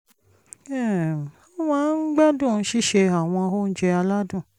um ó máa ń gbádùn sísè àwọn oúnjẹ aládùn